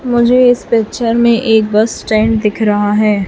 मुझे इस पिक्चर में एक बस स्टैंड दिख रहा है।